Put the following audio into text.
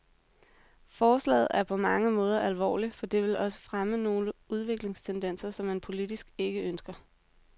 Forslaget er på mange måder alvorligt, for det vil også fremme nogle udviklingstendenser, som man politisk ikke ønsker.